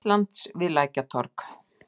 Íslands við Lækjartorg.